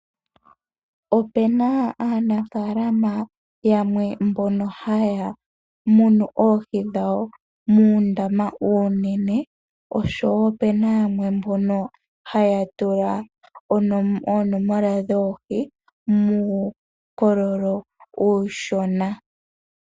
Opu na aanafaalama yamwe mbono haa munu oohi dhawo muundama uunene po opuna mbono haa tula oonomola dhoohi muukololo uushona